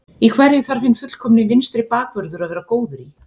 Í hverju þarf hinn fullkomni vinstri bakvörður að vera góður í?